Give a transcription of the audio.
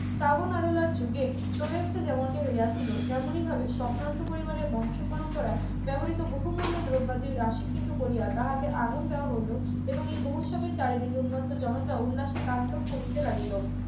যুগে ফ্লোরেন্সে যেমনটি হয়েছিল তেমনি ভাবে সম্ভ্রান্ত পরিবারের বংশ পরম্পরায় ব্যবহৃত বহুমূল্য দ্রব্যাদির রাশি কৃত করিয়া তাহাকে আগুন দেওয়া হইল এবং এই বহ্নুৎসবের চারিদিক উন্নত জনতা উল্লাসে তাণ্ডব করিতে লাগিল